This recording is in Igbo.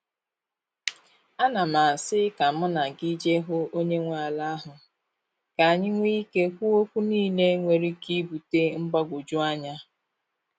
Ana m asị ka mụ na gị je hụ onye nwe ala ahụ, ka anyị nwee ike kwuo okwu niile nwere ike ibute mgbagwoju anya.